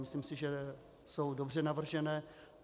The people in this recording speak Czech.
Myslím si, že jsou dobře navržené.